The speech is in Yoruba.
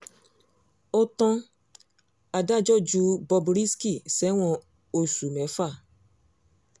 ó tan adájọ́ ju bob risky sẹ́wọ̀n oṣù mẹ́fà